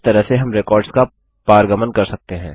इस तरह से हम रेकॉर्ड्स का पारगमन कर सकते हैं